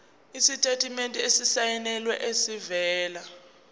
isitatimende esisayinelwe esivela